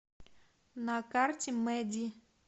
на карте мэди